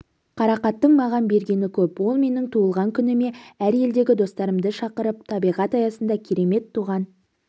қарақаттың маған бергені көп ол менің туған күніме әр елдегі достарымды шақырып табиғат аясында керемет туған